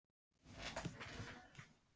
Ásgrímur: Já það hefur ekki verið?